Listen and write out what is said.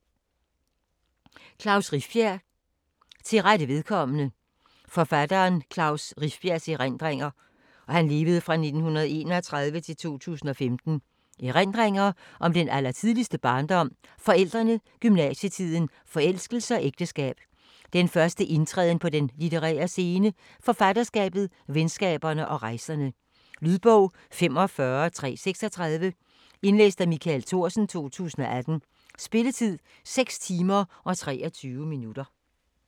Rifbjerg, Klaus: Til rette vedkommende Forfatteren Klaus Rifbjergs (1931-2015) erindringer om den allertidligste barndom, forældrene, gymnasietiden, forelskelse og ægteskab, den første indtræden på den litterære scene, forfatterskabet, venskaberne og rejserne. Lydbog 45336 Indlæst af Michael Thorsen, 2018. Spilletid: 6 timer, 23 minutter.